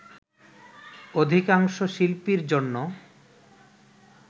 অধিকাংশ শিল্পীর জন্য